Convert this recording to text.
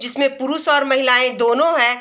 जिसमे पुरुष और महिलाएं दोनों है।